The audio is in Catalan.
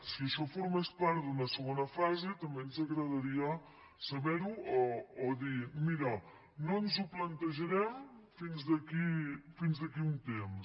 si això formés part d’una segona fase també ens agradaria saber ho o dir mira no ens ho plantejarem fins d’aquí a un temps